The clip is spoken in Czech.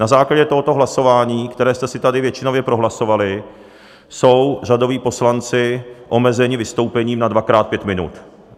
Na základě tohoto hlasování, které jste si tady většinově prohlasovali, jsou řadoví poslanci omezeni vystoupením na dvakrát pět minut.